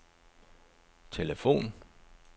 telefon